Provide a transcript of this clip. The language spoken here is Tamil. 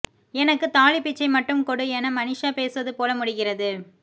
எனக்கு தாலிப் பிச்சை மட்டும் கொடு என மனிஷா பேசுவது போல முடிகிறது